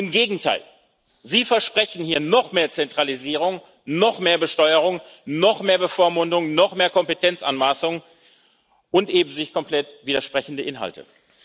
Im Gegenteil Sie versprechen hier noch mehr Zentralisierung, noch mehr Besteuerung, noch mehr Bevormundung, noch mehr Kompetenzanmaßung und eben sich komplett widersprechende Inhalte.